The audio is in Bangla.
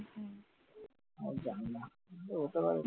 আমি জানি না তো ওটার